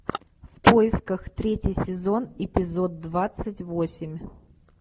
в поисках третий сезон эпизод двадцать восемь